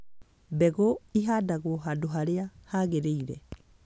Mbegũ ĩhandwo handũ harĩa haagĩrĩire.